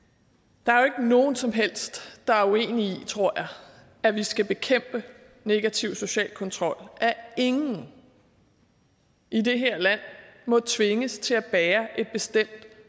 der er nogen som helst der er uenige i tror jeg at vi skal bekæmpe negativ social kontrol at ingen i det her land må tvinges af andre til at bære et bestemt